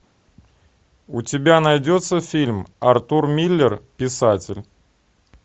у тебя найдется фильм артур миллер писатель